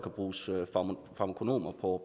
bruges farmakonomer på